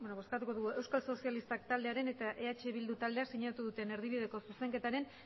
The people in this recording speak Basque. euskal sozialistak taldeak eta eh bildu taldeak sinatu duten erdibideko zuzenketaren